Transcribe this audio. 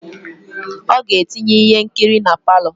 Oga etinye ihe nkiri na parlour.